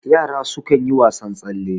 yara sukan yi wasan tsalle